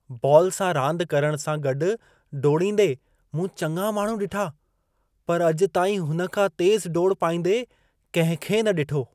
Ball सां रांदि करण सां गॾु डोड़ींदे मूं चङा माण्हू ॾिठा पर अॼु ताईं हुन खां तेज़ु डोड़ पाईंदे कंहिंखे न ॾिठो!